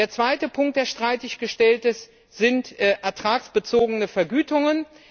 Der zweite Punkt, der streitig gestellt ist, sind ertragsbezogene Vergütungen.